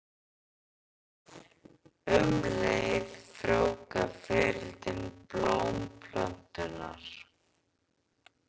Um leið frjóvga fiðrildin blómplönturnar.